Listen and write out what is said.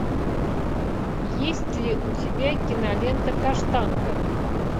есть ли у тебя кинолента каштанка